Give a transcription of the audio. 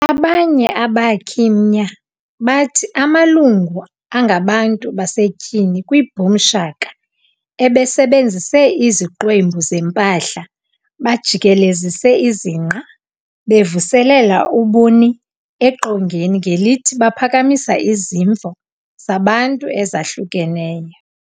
Abanye abakhi mnya batthi amalungu angabantu basetyhini kwiBoom Shaka asebenzise 'iziqwempu zempahla, bajikelezise izinqe, bevuselela ubuni eqongeni ngelithi baphakamisa izimvo zabantu ezahlukeneyo.'"